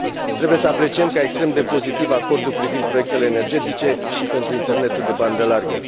Trebuie să apreciem ca extrem de pozitiv acordul privind proiectele energetice și pentru internetul de bandă largă.